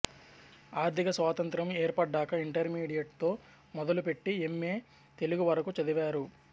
ఆర్థిక స్వాతంత్ర్యం ఏర్పడ్డాక ఇంటర్మీడియేట్ తో మొదలుపెట్టి ఎమ్మే తెలుగు వరకు చదివారు